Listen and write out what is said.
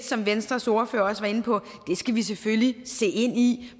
som venstres ordfører også var inde på selvfølgelig se ind i